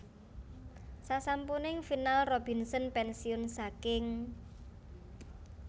Sasampuning final Robinson pénsiun saking